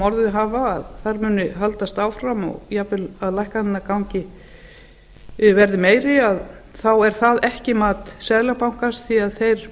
orðið hafa að þær muni haldast áfram og jafnframt að lækkanirnar verði meiri þá er það ekki mat seðlabankans því að þeir